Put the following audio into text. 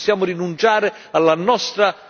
Non possiamo darla vinta ai fondamentalisti.